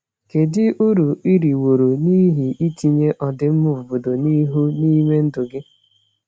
Kedu uru i riworo n’ihi itinye ọdịmma obodo n’ihu n’ime ndụ gị?